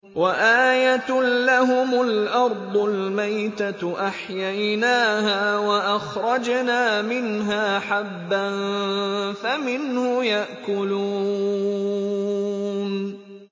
وَآيَةٌ لَّهُمُ الْأَرْضُ الْمَيْتَةُ أَحْيَيْنَاهَا وَأَخْرَجْنَا مِنْهَا حَبًّا فَمِنْهُ يَأْكُلُونَ